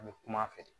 A bɛ kum'a fɛ